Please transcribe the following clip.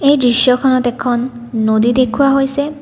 এই দৃশ্যখনত এখন নদী দেখুওৱা হৈছে।